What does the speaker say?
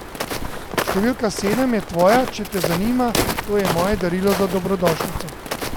Številka sedem je tvoja, če te zanima, to je moje darilo za dobrodošlico.